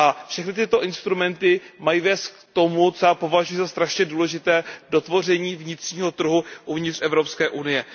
Všechny tyto instrumenty mají vést k tomu, co já považuji za velmi důležité, dotvoření vnitřního trhu uvnitř Evropské unie.